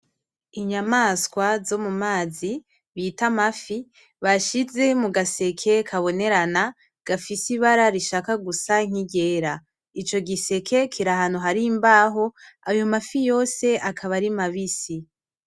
Inyamaswa zo mu mazi bita Amafi bashize mugaseke kabonerana gafise ibara rishaka gusa nkiryera ico giseke kiri ahantu hari imbaho ayo mafi yose akaba ari mabisi.